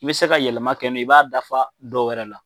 N'i bɛ se ka yɛlɛma kɛ n'o ye, i b'a dafa dɔ wɛrɛ la.